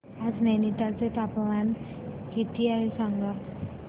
आज नैनीताल चे तापमान किती आहे सांगा